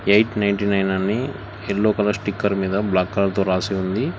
Eight ninety nine అని yellow colour sticker మీద black colour తో రాసి ఉంది.